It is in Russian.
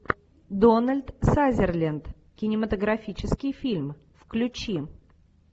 дональд сазерленд кинематографический фильм включи